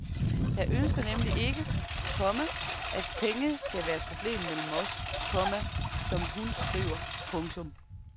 Jeg ønsker nemlig ikke, komma at penge skal være et problem mellem os, komma som hun skriver. punktum